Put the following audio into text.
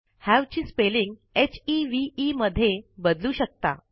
have ची spelling हेवे मध्ये बदलू शकता